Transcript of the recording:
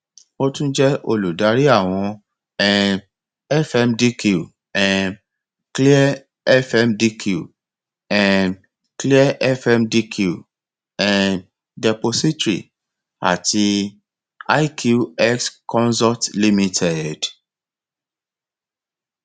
ó tún jẹ olùdarí àwọn um fmdq um clear fmdq um clear fmdq um depository àti iqx consult limited